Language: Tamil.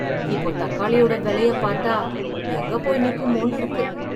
இப்போ தக்காளியோட வெலயப் பாத்தா, எங்க போய் நிக்குமோன்னு இருக்கு...